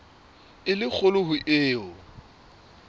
e le kgolo ho eo